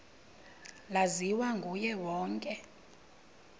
laziwa nguye wonke